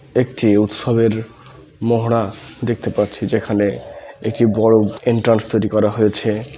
একটি উৎসবের মহড়া দেখতে পাচ্ছি যেখানে একটি বড় এন্ট্রান্স তৈরী করা হয়েছে |